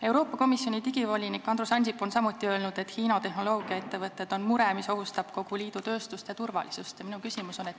Euroopa Komisjoni digivolinik Andrus Ansip on samuti öelnud, et Hiina tehnoloogiaettevõtted on mure, mis ohustab kogu liidu tööstust ja turvalisust.